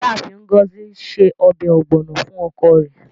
Iyaafin Ngozi se ọbẹ ogbono fun oko re